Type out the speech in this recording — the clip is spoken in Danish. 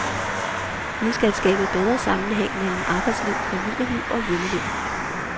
Vi skal skabe bedre sammenhæng mellem arbejdsliv, familieliv og hjemmeliv.